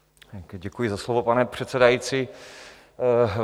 Děkuji za slovo, pane předsedající.